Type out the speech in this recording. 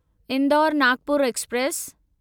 Indore Nagpur express